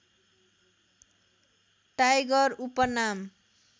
tiger उपनाम